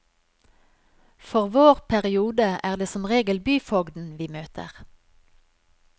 For vår periode er det som regel byfogden vi møter.